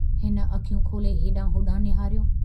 हिन अखियूं खोले हेडांहुं होडांहुं निहारियो।